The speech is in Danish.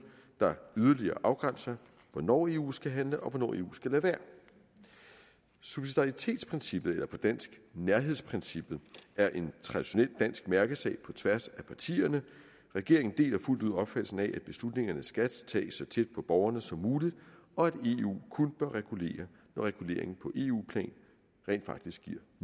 der yderligere afgrænser hvornår eu skal handle og hvornår eu skal lade være subsidaritetsprincippet eller på dansk nærhedsprincippet er en traditionel dansk mærkesag på tværs af partierne regeringen deler fuldt ud opfattelsen af at beslutningerne skal tages så tæt på borgerne som muligt og at eu kun bør regulere når reguleringen på eu plan rent faktisk